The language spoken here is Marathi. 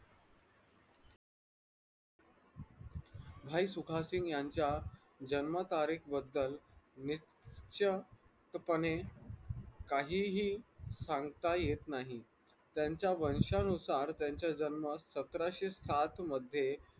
भाई सुखदसिंग यांच्या जन्म तारीख बद्दल निश्चितपणे काहीही सांगता येत नाही त्यांच्या वंशानुसार त्यांचा जन्म सतराशे सात मध्ये